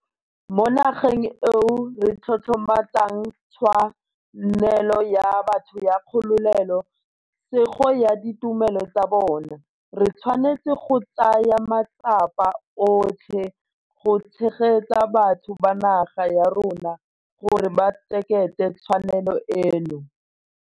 Mo nageng eo re tlotlomatsang tshwa nelo ya batho ya kgolole sego ya ditumelo tsa bona, re tshwanetse go tsaya matsapa otlhe go tshegetsa batho ba naga ya rona gore ba keteke tshwanelo eno.